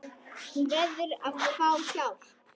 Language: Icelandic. Hún verður að fá hjálp.